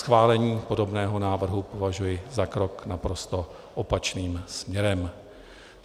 Schválení podobného návrhu považuji za krok naprosto opačným směrem.